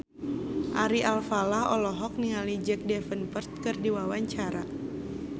Ari Alfalah olohok ningali Jack Davenport keur diwawancara